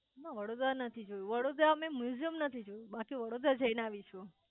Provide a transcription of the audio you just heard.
ના વડોદરા નથી જોયું વડોદરા અમે મ્યુઝીયમ નથી જોયું બાકી વડોદરા જય ને આવી છું